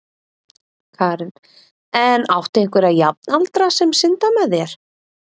Karen: En áttu einhverja jafnaldra sem synda með þér?